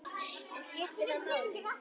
Og skiptir það máli?